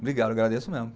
Obrigado, eu agradeço mesmo.